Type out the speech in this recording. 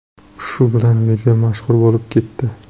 Shu bilan video mashhur bo‘lib ketdi.